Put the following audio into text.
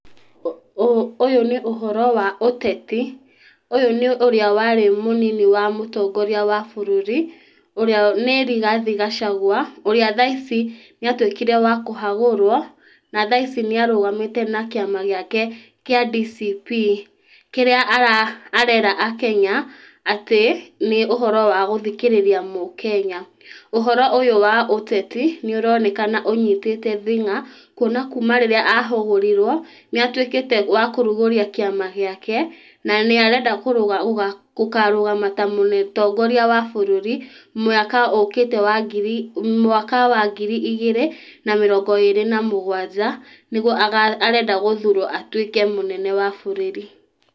Ũyũ nĩ ũhoro wa ũteti ũyũ nĩ ũrĩa warĩ mũnini wa mũtongoria wa bũrũri ũrĩa nĩ Rigathe Gachagua ũrĩa thaici nĩ atuĩkĩre wa kũhagũrwo na thaaici nĩ arũgamĩte na kĩama gĩake kĩa DCP kĩrĩa ararera akenya atĩ nĩ ũhoro wa gũthikĩrĩria akenya, ũhoro ũyũ wa ũteti nĩ ũroneka ũnyitĩte thĩnga kũona kuuma rĩrĩa ahagũrirwo nĩ atuĩkĩte wa kũrugũria kĩama gĩake na nĩ arenda gũkarũgama ta mũtongoria wa bũrũri mwaka ũkĩte wa ngiri mwaka wa ngiri igĩrĩ na mĩrongo ĩrĩ na mũgwanja nĩguo arenda gũthurwo atuĩke mũnene wa bũrũri.